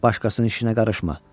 Başqasının işinə qarışma.